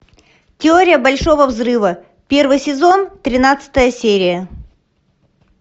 теория большого взрыва первый сезон тринадцатая серия